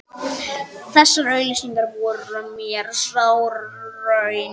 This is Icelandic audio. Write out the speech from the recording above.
Þessar auglýsingar voru mér sár raun.